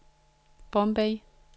Bombay